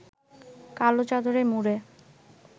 কালো চাদরে মুড়ে